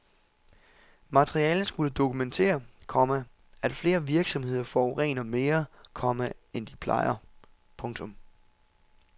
Materialet skulle dokumentere, komma at flere virksomheder forurener mere, komma end de plejer. punktum